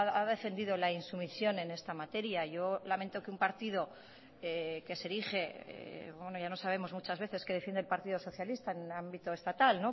ha defendido la insumisión en esta materia yo lamento que un partido que se erige bueno ya no sabemos muchas veces qué defiende el partido socialista en el ámbito estatal